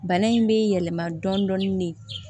Bana in bɛ yɛlɛma dɔɔnin de